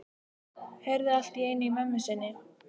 Heyrði allt í einu í mömmu sinni.